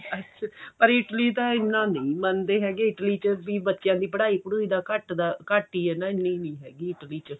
ਅੱਛਾ ਪਰ Italy ਤਾਂ ਇੰਨਾ ਨਹੀਂ ਮੰਨਦੇ ਹੈਗੇ Italy ਚ ਵੀ ਬੱਚਿਆਂ ਦੀ ਪੜੁਈ ਪੜੁਈ ਦਾ ਘੱਟ ਹੀ ਹਾਂ ਇੰਨੀ ਨਹੀਂ ਹੈਗੀ Italy ਚ